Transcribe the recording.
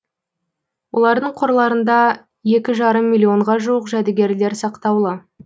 олардың қорларында екі жарым миллионға жуық жәдігерлер сақтаулы